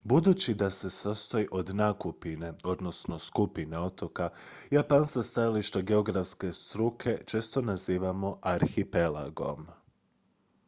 "budući da se sastoji od nakupine skupine otoka japan sa stajališta geografske struke često nazivamo "arhipelagom"".